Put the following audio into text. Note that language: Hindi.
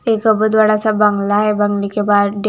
एक बहुत बड़ा सा बंगला है बंगले के --